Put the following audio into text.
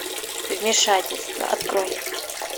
вмешательство открой